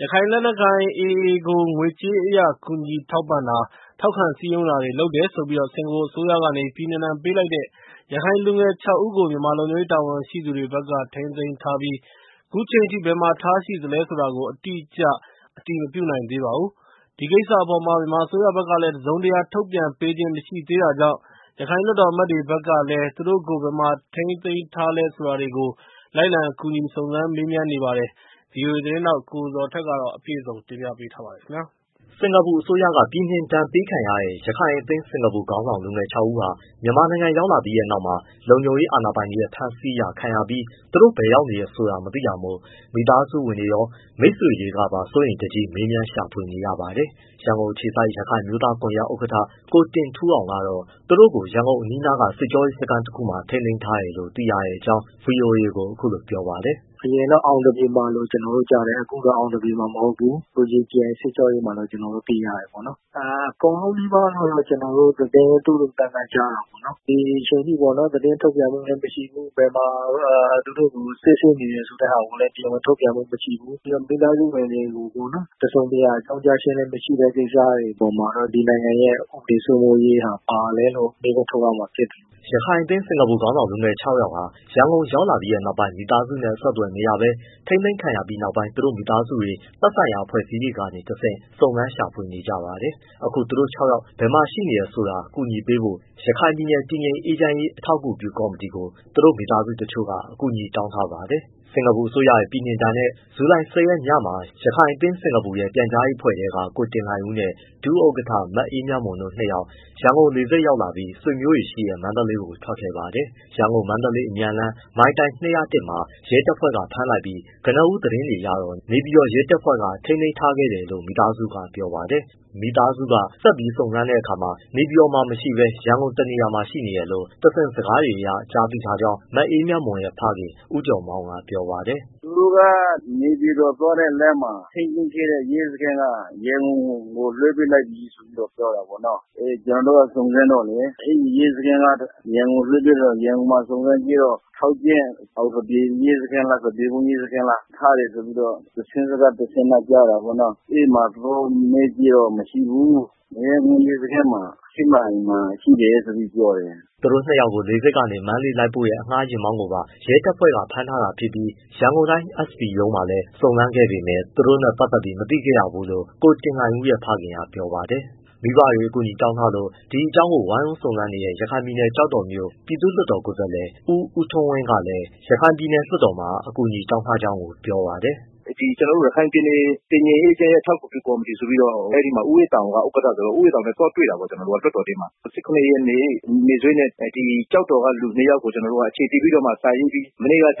ရခိုင်လက်နက်ကိုင် AA ကိုငွေကြေးအရကူညီထောက်ပံ့တာ၊ ထောက်ခံ စည်းရုံးတာတွေ လုပ်တယ်ဆိုပြီး စင်္ကာပူအစိုးရက ပြည်နှင်ဒဏ်ပေးလိုက်တဲ့ ရခိုင်လူငယ် ၆ ဦး ကို မြန်မာလုံခြုံရေး တာဝန်ရှိသူတွေဖက်က ထိန်းသိမ်းထားပြီး၊ ခုအချိန်အထိ ဘယ်မှာ ထားရှိသလဲဆိုတာကို အတိအကျ အတည်မပြုနိုင်သေးပါဘူး။ ဒီကိစ္စအပေါ် မြန်မာအစိုးရဖက်ကလည်း တစုံတရာ ထုတ်ပြန်ပေးခြင်းမရှိသေးတာကြောင့် ရခိုင်လွှတ်တော်အမတ်တွေ ဖက်ကလည်း သူတို့ကိုဘယ်မှာ ထိန်းသိမ်းထားလဲ ဆိုတာတွေကို လိုက်လံ ကူညီစုံစမ်းမေးနေပါတယ်။ ဗွီအိုအေ သတင်းထောက် ကိုဇော်ထက် စုံစမ်းမေးမြန်းထားတာပါ။ စင်္ကာပူအစိုးရက ပြည်နှင်ဒဏ်ပေးခံရတဲ့ ရခိုင်အသင်း ခေါင်းဆောင်လူငယ် ၆ ဦးဟာ မြန်မာနိုင်ငံ ရောက်လာပြီးတဲ့နောက် လုံခြုံရေးအာဏာပိုင်တွေရဲ့ ဖမ်းဆီးခြင်းခံရပြီးနောက် သူတို့ ဘယ်ရောက်နေလဲဆိုတာ မသိတာမို့ မိသားဝင်တွေရော မိတ်ဆွေတွေပါ စိုးရိမ်တကြီး မေးမြန်း ရှာဖွေနေကြရပါတယ်။ ရန်ကုန်အခြေစိုက် ရခိုင်အမျိုးသားကွန်ရက် ဥက္ကဋ္ဌ ကိုတင်ထူးအောင်ကတော့ သူတို့ကို ရန်ကုန်အနီးက စစ်ကြောရေးစခန်းတခုမှာ ထိန်းသိမ်းထားတယ်လို့သိရတဲ့အကြောင်း ဗွီအိုအေကို ပြောပါတယ်။ “ အရင်က အောင်သပြေမှာလို့ ကျနော်တို့ကြားတယ်။ အခုတော့အောင်သပြေမှာ မဟုတ်ဘူး ရေကြည်အိုင် စစ်ကြောရေးမှာလို့ ကျနော်တို့သိရတယ်ပေါ့။ အကုန်လုံး ၆ယောက် နီးပါးလို့ သတင်းသိုးသိုးသန့်သန့် ကြားတာပေါ့နော်။ ဒီအချိန်အထိ သတင်းထုတ်ပြန်မှုလည်းမရှိဘူး၊ ဘယ်မှာသူတို့ကို စစ်ဆေးနေလဲ ဆိုတာတရားဝင် ထုတ်ပြန်မှုမရှိဘူး မိသားစုတွေကို တစုံတရာအကြောင်းကြားခြင်းမရှိတဲ့အပေါ်မှာတော့ ဒီနိုင်ငံရဲ့ ဥပဒေစိုးမိုးရေးဟာ ဘာလဲလို့မေးခွန်း ထုတ်ရမှာဖြစ်တယ်။” ရခိုင်အသင်း ခေါင်းဆောင်လူငယ် ၆ယောက် ရန်ကုန်ရောက်လာပြီးနောက်ပိုင်း မိသားစုနဲ့အဆက်အသွယ်မရဘဲ ထိန်းသိမ်းခံရတဲ့နောက်ပိုင်း သူတို့မိသားစုတွေ သက်ဆိုင်ရာ အဖွဲ့အစည်းတွေကနေတဆင့် စုံစမ်းရှာဖွေနေကြပါတယ်။ အခုသူတို့ ၆ယောက်ဘယ်မှာ ရှိနေတယ်ဆိုတာ ကူညီပေးဖို့ ရခိုင်ပြည်နယ်တည်ငြိမ်အေးချမ်းရေး အထောက်အကူပြုကော်မတီကို သူတို့မိသားစုဝင်တချို့က အကူအညီတောင်းထားပါတယ်။ စင်္ကာပူအစိုးရရဲ့ ပြည်နှင်ဒဏ်နဲ့ ဇူလိုင် ၁၀ရက်ညမှာ ရခိုင်အသင်း ရဲ့ ပြန်ကြားရေးအဖွဲ့ထဲက ကိုတင်လှိုင်ဦးနဲ့ ဒုဥက္ကဋ္ဌ မအေးမြတ်မွန် ၂ယောက် ရန်ကုန်လေဆိပ်ရောက်လာပြီး ဆွေမျိုးတွေရှိတဲ့ မန္တလေးကိုထွက်ခဲ့ပါတယ်။ ရန်ကုန်-မန္တလေးအမြန်လမ်း မိုင်တိုင် ၂၀၁မှာ ရဲတပ်ဖွဲ့ကဖမ်းလိုက်ပြီး ကနဦးသတင်းတွေအရ နေပြည်တော်ရဲတပ်ဖွဲ့က ထိန်းသိမ်းထားခဲ့တယ်လို့ မိသားစုကပြောပါတယ်။ မိသားစုက ဆက်စုံစမ်းခဲ့တဲ့အခါ နေပြည်တော်မှာ မရှိဘဲ ရန်ကုန်တနေရာမှာ ရှိနေတယ်လို့ တဆင့်စကားတွေနဲ့ ကြားသိထားကြောင်း မအေးမြတ်မွန်ရဲ့ ဖခင် ဦးကျော်မောင်းက ပြောပါတယ်။ “ သူတို့က နေပြည်တော်သွားတဲ့လမ်းမှာ ထိန်းသိမ်းခဲ့တဲ့ ရဲစခန်းက ရဲမှူး လွှဲပေးလိုက်တယ် ဆိုပြီး ပြောတာပေါ့နော်။ ကျနော်တို့က စုံစမ်းတော့လည်း အဲဒီရဲစခန်းက ရန်ကုန်လွှဲပေးတယ်ပြောတော့ ရန်ကုန်စုံစမ်းတော့ ထောက်ကြန့်၊ အောင်သပြေရဲစခန်းလား၊ သပြေကုန်းရဲစခန်းလား ထားတယ်ဆိုပြီးတော့ တဆင့်စကားတဆင့်ကြားတာပေါ့နော်။ အဲဒီမှာ သူတို့ကိုမေးကြည့်တော့ မရှိဘူး မရမ်းကုန်းရဲစခန်းမှာ ရှစ်မိုင်မှာ ရှိတယ်လို့ ပြောတယ်။” သူတို့နှစ်ယောက်ကို လေဆိပ်ကနေ မန္တလေးလိုက်ပို့တဲ့ အငှားယာဉ်မောင်းကိုပါ ရဲတပ်ဖွဲ့က ဖမ်းထားတာဖြစ်ပြီး ရန်ကုန်တိုင်း SB ရုံးမှာလည်း စုံစမ်းခဲ့ပေမဲ့သူတို့နဲ့ပတ်သက်ပြီးမသိခဲ့ရဘူးလို့ ကိုတင်လှိုင်ဦးရဲ့ ဖခင်က ပြောပါတယ်။ မိဘတွေအကူအညီတောင်းထားလို့ ဒီအကြောင်းကို ဝိုင်းဝန်းစုံစမ်းနေတဲ့ ရခိုင်ပြည်နယ်၊ ကျောက်တော်မြို့၊ပြည်သူ့လွှတ်တော်ကိုယ်သားလှယ် ဦးဦးထွန်းဝင်းကလည်း ပြည်နယ်လွှတ်တော်မှာအကူအညီတောင်းထားကြောင်းပြောပါတယ်။ “ ကျနော်တို့ ရခိုင်ပြည်နယ် တည်ငြိမ်အေးချမ်းရေး အထောက်အကူပြုကော်မတီ ဆိုပြီးတော့ အဲဒီမှာ ဦးအေးသာအောင်က ဥက္ကဋ္ဌဆိုတော့ သွားတွေ့တာပေါ့ ။ လွှတ်တော်ထဲမှာ ၁၇ရက်နေ့စွဲနဲ့ ကျောက်တော်က လူနှစ်ယောက်ကို အခြေတည်ပြီးတော့မှ မနေ့ကဦး